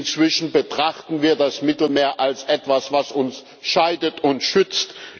Inzwischen betrachten wir das Mittelmeer als etwas, was uns scheidet und schützt.